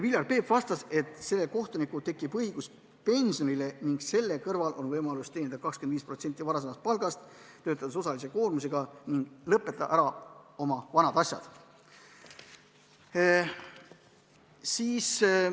Viljar Peep vastas, et kohtunikul tekib õigus pensionile ning selle kõrval on tal võimalus teenida 25% varasemast palgast, töötades osalise koormusega ning lõpetada oma asjad ära.